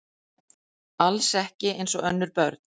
Alls ekki eins og önnur börn.